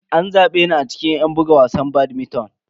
An zabe ni a cikin yan buga wasan badminton.